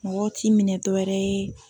Mɔgɔw t'i minɛn dɔwɛrɛ ye